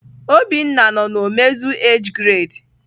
Obinna no na omezu age grade.